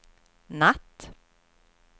natt